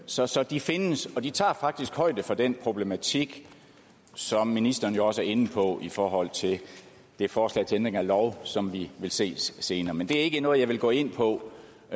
så så de findes og de tager faktisk højde for den problematik som ministeren jo også er inde på i forhold til det forslag til ændring af lov som vi vil se senere men det er ikke noget jeg vil gå ind på